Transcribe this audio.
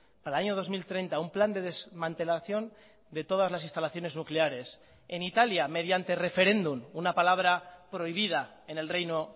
para el año dos mil treinta un plan de desmantelación de todas las instalaciones nucleares en italia mediante referéndum una palabra prohibida en el reino